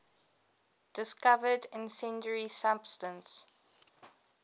discovered incendiary substance